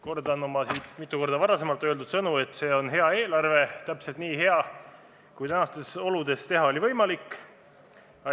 Kordan oma siit mitu korda varem öeldud sõnu, et see on hea eelarve, täpselt nii hea, kui tänastes oludes oli võimalik teha.